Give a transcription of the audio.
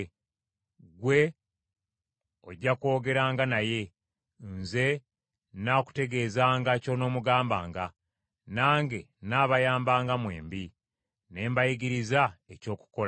Ggwe ojja kwogeranga naye, nze nnaakutegeezanga ky’onoomugambanga, nange n’abayambanga mwembi, ne mbayigiriza eky’okukola.